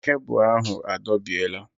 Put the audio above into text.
Kebụl ahụ adọbiela